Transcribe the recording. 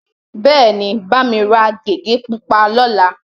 Bẹ́ẹ̀ni, bá mi ra gègé pupa lọ́la.